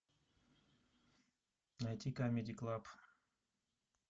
найди камеди клаб